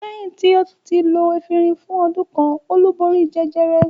Lẹ́yìn tí ó ti lo efirin fún ọdún kan Olú borí jẹjẹrẹ.